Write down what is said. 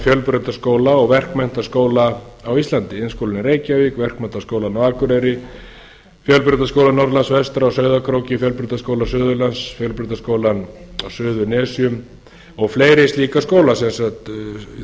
fjölbrautaskóla og verkmenntaskóla á íslandi iðnskólanum í reykjavík verkmenntaskólann á akureyri fjölbrautaskóla norðurlands vestra á sauðárkróki fjölbrautaskóla suðurlands fjölbrautaskólanum á suðurnesjum og fleiri slíka skóla